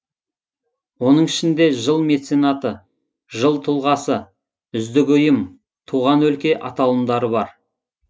оның ішінде жыл меценаты жыл тұлғасы үздік ұйым туған өлке аталымдары бар